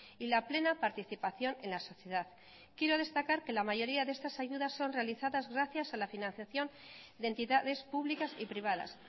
y la plena participación en la sociedad quiero destacar que la mayoría de estas ayudas son realizadas gracias a la financiación de entidades públicas y privadas